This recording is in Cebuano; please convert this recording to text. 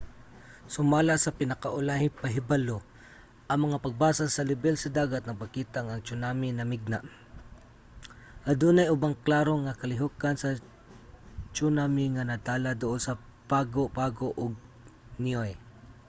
sumala sa pinaka-ulahing pahibalo ang mga pagbasa sa lebel sa dagat nagpakita nga ang tsunami namigna. adunay ubang klaro nga kalihokan sa tsunami nga natala duol sa pago pago ug niue